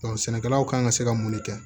sɛnɛkɛlaw kan ka se ka mun de kɛ